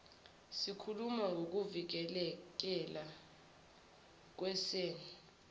sikhuluma ngokuvikeleka kwesen